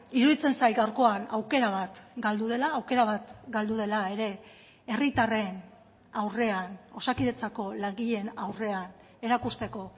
iruditzen zait gaurkoan aukera bat galdu dela aukera bat galdu dela ere herritarren aurrean osakidetzako langileen aurrean erakusteko